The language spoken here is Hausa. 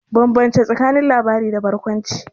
Bambance tsakanin labarai da barkwanci.